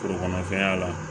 Forokɔnɔfɛnya la